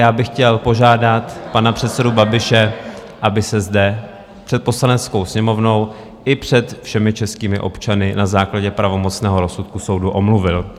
Já bych chtěl požádat pana předsedu Babiše, aby se zde před Poslaneckou sněmovnou i před všemi českými občany na základě pravomocného rozsudku soudu omluvil.